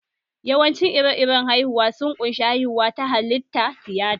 Yawancin ire-iren haihuwa sun ƙunshi:-haihuwa ta halitta, tiyata